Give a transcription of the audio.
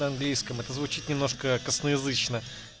на английском это звучит немножко косноязычно